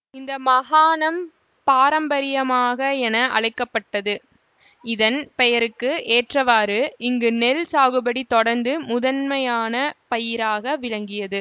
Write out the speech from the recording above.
இந்த மகாணம் பாரம்பரியமாக என அழைக்க பட்டது இதன் பெயருக்கு ஏற்றவாறு இங்கு நெல் சாகுபடி தொடர்ந்து முதன்மையான பயிராக விளங்கியது